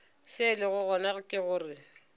se lego gona ke gore